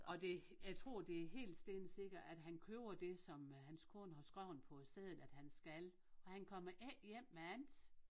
Og det jeg tror det er helt stensikkert at han køber det som hans kone har skreven på seddel at han skal og han kommer ikke hjem med andet